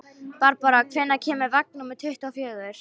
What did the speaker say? Barbára, hvenær kemur vagn númer tuttugu og fjögur?